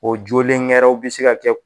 O jolenw ŋɛrɛw bi se ka kɛ